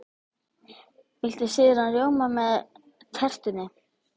Viltu sýrðan rjóma með tertunni?